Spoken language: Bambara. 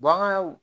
Baganw